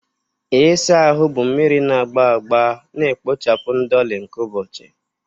Ịsa ahụ bụ mmiri na agba agba na-ekpochapụ ndoli nke ụbọchị.